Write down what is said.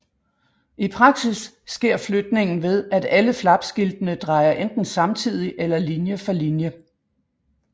I praksis sker flytningen ved at alle flapskiltene drejer enten samtidig eller linje for linje